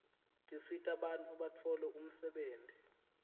tisita bantfu batfole umsebtniti